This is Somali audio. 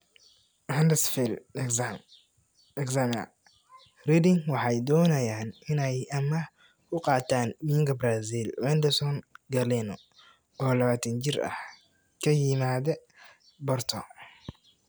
(Huddersfield Examiner) Reading waxay doonayaan inay amaah ku qaataan winga Brazil Wenderson Galeno, oo 21 jir ah, ka yimaada Porto.